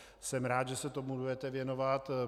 Jsem rád, že se tomu budete věnovat.